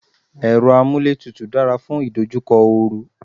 Èrọ amúlétutù dára fún ìdojúkọ oru.